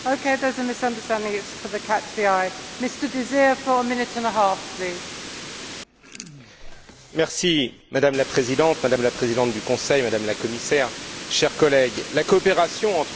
Madame la Présidente, Madame la Présidente du Conseil, Madame la Commissaire, chers collègues, la coopération entre l'Europe et les États Unis est décisive pour la résolution de la plupart des grands défis mondiaux, et la nouvelle administration américaine est certainement une opportunité.